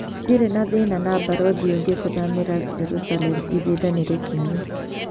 Ndire na thĩna na barothi ũngĩ kũthamĩra Jerusalem-ĩbida nĩ rĩkinyu